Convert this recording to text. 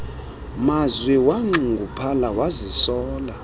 mazwi wanxunguphala wazisola